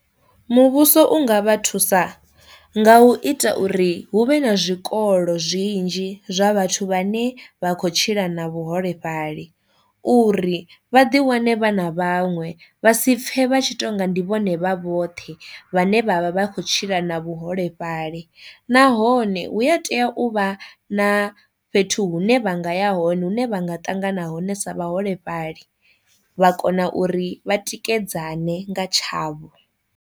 Muvhuso u nga vha thusa nga u ita uri hu vhe na zwikolo zwinzhi zwa vhathu vha ne vha khou tshila na vhuholefhali uri vha ḓi wane vha na vhaṅwe vha si pfhe vha tshi to nga ndi vhone vha vhoṱhe vhane vha vha khou tshila na vhuholefhali, nahone hu a tea u vha na fhethu hune vhanga ya hone hune vha nga ṱangana hone sa vhaholefhali vha kona uri vha tikedzane nga tshavho.